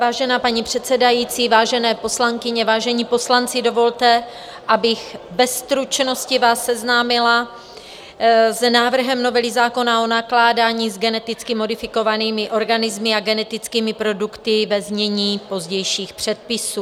Vážená paní předsedající, vážené poslankyně, vážení poslanci, dovolte, abych ve stručnosti vás seznámila s návrhem novely zákona o nakládání s geneticky modifikovanými organismy a genetickými produkty, ve znění pozdějších předpisů.